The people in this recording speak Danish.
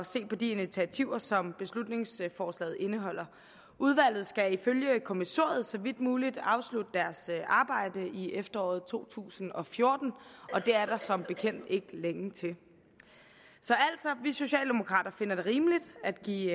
se på de initiativer som beslutningsforslaget indeholder udvalget skal ifølge kommissoriet så vidt muligt afslutte deres arbejde i efteråret to tusind og fjorten og det er der som bekendt ikke længe til så altså vi socialdemokrater finder det rimeligt at give